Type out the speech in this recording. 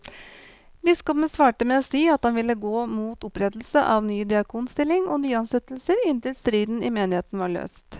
Biskopen svarte med å si at han ville gå mot opprettelse av ny diakonstilling og nyansettelser inntil striden i menigheten var løst.